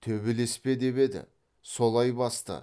төбелес пе деп еді солай басты